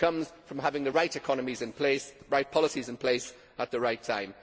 It comes from having the right economies and the right policies in place, at the right time.